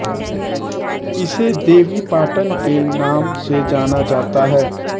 इसे देवी पाटन के नाम से जाना जाता है